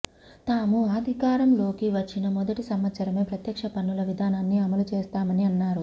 తాము అధికారంలోకి వచ్చిన మొదటి సంవత్సరమే ప్రత్యక్ష పన్నుల విధానాన్ని అమలు చేస్తామని అన్నారు